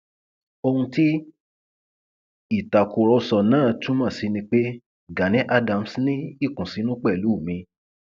ohun tí ìtàkùrọsọ náà túmọ sí ni pé gani adams ní ìkùnsínú pẹlú mi